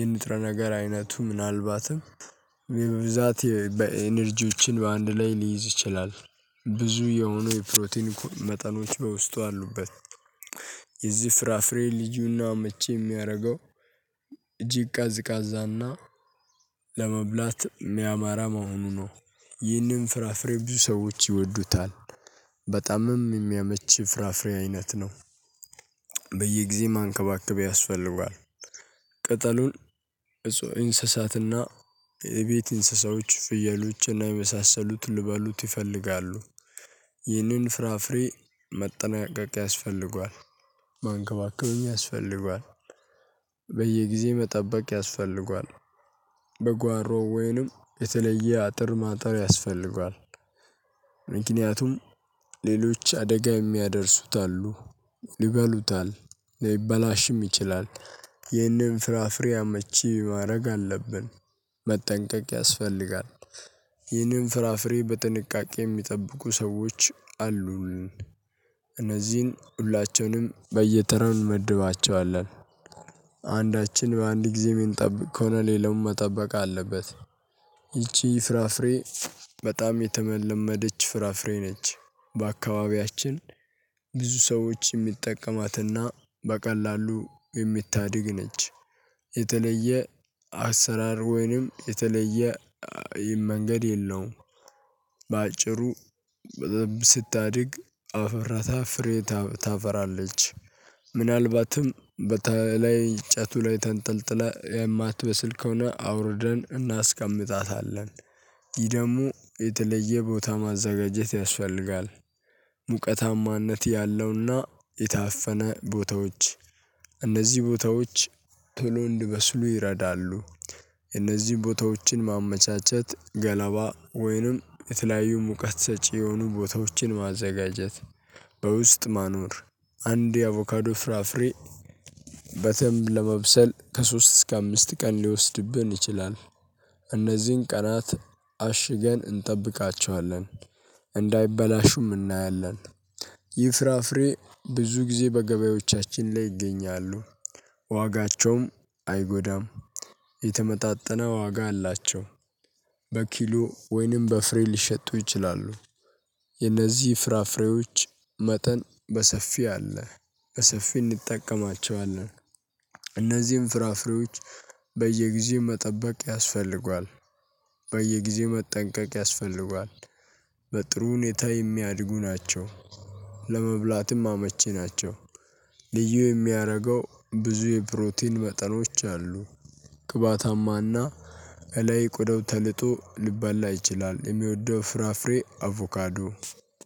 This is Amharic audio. የንጥረ ነገር አይነቱ ምናልባትም ብዛት በኢነርጂዎችን በአንድ ላይ ሊይዝ ይችላል። ብዙ የሆኑ የፕሮቲን መጠኖች በውስጡ አሉበት። የዚህ ፍራፍሬ ልዩና መቹ የሚያደርገው እጅግ ቀዝቃዛና ለመብላት የሚያማራ መሆኑ ነው። ይህንን ፍራፍሬ ብዙ ሰዎች ይወዱታል። በጣምም የሚያመች ፍራፍሬ አይነት ነው። በየጊዜም አንከባክብ ያስፈልገዋል። ቅጠሉን እፅ እንስሳትና የቤት እንስሳዎች ፍየሎች እና የመሳሰሉትን ልበሉት ይፈልጋሉ። ይህንን ፍራፍሬ መጠናቀቅ ያስፈልገዋል። ማንከባከብም ያስፈልገዋል። በየጊዜው መጠበቅ ያስፈልገዋል። በጓሮ ወይንም የተለየ አጥር ማጠር ያስፈልጋል። ምክንያቱም ሌሎች አደጋ የሚያደርሱት አሉ። ይበሉታል ሊበላሽም ይችላል። ይህንን ፍራፍሬ አመቺ ማድረግ አለብን። መጠንቀቅ ያስፈልጋል። ይህንን ፍራፍሬ በጥንቃቄ የሚጠብቁ ሰዎች አሉን። እነዚህን ሁላቸውንም በየጠረን እንመድባቸዋለን። አንዳችን በአንድ ጊዜ የሚንጠብቅ ከሆነ ሌላውም መጠበቅ አለበት። ይቺ ፍራፍሬ በጣም የተመለመደች ፍራፍሬ ነች። በአካባቢያችን ብዙ ሰዎች የሚጠቀሟትና በቀላሉ የሚታድግ ነች። የተለየ አሰራር ወይንም የተለየ ይህን መንገድ የለውም። በአጭሩ በዘብ ስታድግ አፈራታ ፍሬ ታፈራለች። ምናልባትም በተለይ እጨቱ ላይ ተንጠልጥለህ የማትበስል ከሆነ አውርደን እናስቀምጣታለን። ይህ ደግሞ የተለየ ቦታ ማዘጋጀት ያስፈልጋል። ሙቀታማነት ያለውና የታፈነ ቦታዎች እነዚህ ቦታዎች ቶሎ እንዲበስሉ ይረዳሉ። እነዚህ ቦታዎችን ማመቻቸት ገላባ ወይንም የተለያዩ ሙቀት ሰጪ የሆኑ ቦታዎችን ማዘጋጀት። በውስጥ ማኖር አንድ የአቮካዶ ፍራፍሬ በተምብ ለመብሰል ከሶስት እስከ አምስት ቀን ሊወስድብን ይችላል። እነዚህን ቀናት አሽገን እንጠብቃቸዋለን። እንዳይበላሹም እናያለን። ይህ ፍራፍሬ ብዙ ጊዜ በገበያዎቻችን ላይ ይገኛሉ። ዋጋቸውም አይጎዳም። የተመጣጠነ ዋጋ አላቸው። በኪሎ ወይንም በፍሬ ሊሸጡ ይችላሉ። የነዚህ ፍራፍሬዎች መጠን በሰፊው አለ። በሰፊው እንጠቀማቸዋለን። እነዚህም ፍራፍሬዎች በየጊዜው መጠበቅ ያስፈልገዋል። በየጊዜው መጠንቀቅ ያስፈልገዋል። በጥሩ ሁኔታ የሚያድጉ ናቸው። ለመብላትም አመቺ ናቸው። ልዩ የሚያረገው ብዙ የፕሮቲን መጠኖች አሉ። ቅባታማና እለይ ቆዳው ተልጦ ሊበላ ይችላል። የሚወደው ፍራፍሬ አቮካዶ